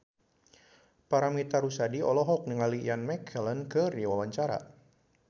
Paramitha Rusady olohok ningali Ian McKellen keur diwawancara